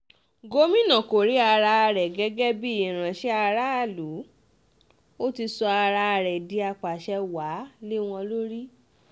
gomina kò rí ara rẹ gẹ́gẹ́ bíi ìránṣẹ́ aráàlú ó ti sọ ara rẹ di àpasẹ̀ wàá lé wọn lórí